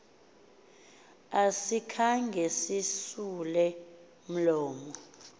asikhange sisule mlomo